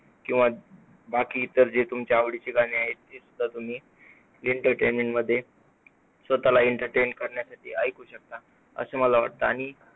किंवा बाकी इतर तुमच्या आवडीची गाणी आहे ती सुद्धा तुम्ही ऐकू शकता. Entertainment मध्ये स्वतःला entertain करण्यासाठी तुम्ही ऐकू शकता असं मला वाटतं. आणि